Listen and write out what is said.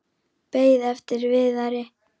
Beið eftir Viðari.